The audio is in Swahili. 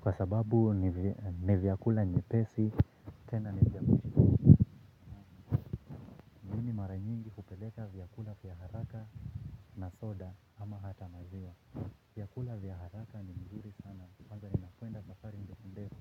Kwa sababu ni vyakula nyepesi tena ni mimi mara nyingi hupeleka vyakula vya haraka na soda. Ama hata maziwa vyakula vya haraka ni mzuri sana. Kwanza ninakwenda safari ndefu ndefu.